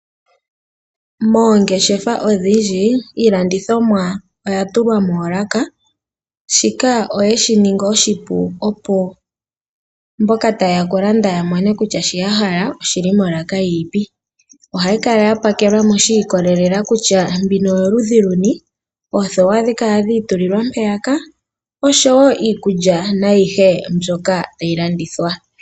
Moongeshefa odhindji iilandithomwa oya tulwa moolaka, shika oye shi ningi oshipu, opo mboka taye ya oku landa ya mone kutya shi ya hala oshi li molaka yi ni po. Ohayi kala ya pakelwa shi ikolelela kutya mbino oyoludhi luni . Oothewa ohadhi kala dhi itulilwa mpeyaka oshowo iikulya nayihe mbyoka tayi landithwa.